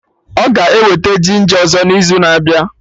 Ọ ga-eweta ginja ọzọ n'izu na-abịa